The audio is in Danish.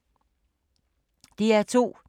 DR2